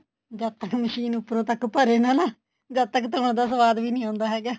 ਜਦ ਤਾਂ ਮਸ਼ੀਨ ਉੱਪਰੋ ਤੱਕ ਭਰੇ ਨਾ ਨਾ ਜਦ ਤੱਕ ਧੋਣ ਦਾ ਸਵਾਦ ਵੀ ਨੀ ਆਉਂਦਾ ਹੈਗਾ